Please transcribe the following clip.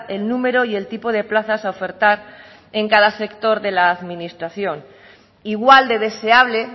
el número y el tipo de plazas a ofertar en cada sector de la administración igual de deseable